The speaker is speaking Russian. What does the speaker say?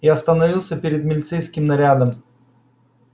и остановился перед милицейским нарядом